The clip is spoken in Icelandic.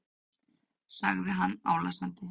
sagði hann álasandi.